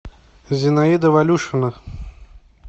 зинаида валюшина